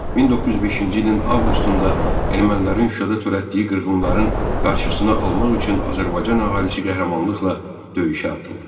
1905-ci ilin avqustunda ermənilərin Şuşada törətdiyi qırğınların qarşısını almaq üçün Azərbaycan əhalisi qəhrəmanlıqla döyüşə atıldı.